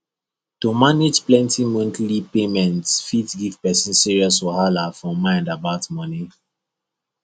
to manage plenty monthly payments fit give person serious wahala for mind about money